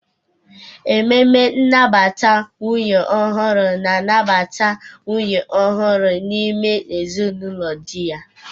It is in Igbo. Ememe nnabata nwunye ọhụrụ na-anabata nwunye ọhụrụ n'ime ezinụlọ di ya.